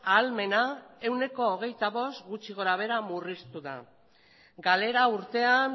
ahalmena ehuneko hogeita bost gutxi gorabehera murriztu da galera urtean